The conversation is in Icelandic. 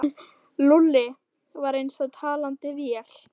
Lúlli var eins og talandi vél.